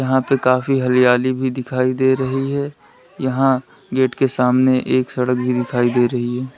यहां पे काफी हरियाली भी दिखाई दे रही है यहां गेट के सामने एक सड़क भी दिखाई दे रही है।